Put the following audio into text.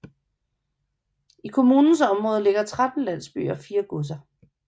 I kommunens område ligger 13 landsbyer og fire godser